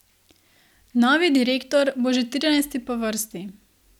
Novi direktor bo že trinajsti po vrsti.